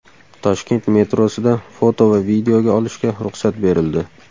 Toshkent metrosida foto va videoga olishga ruxsat berildi .